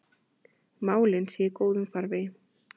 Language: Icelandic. Málin séu í góðum farvegi.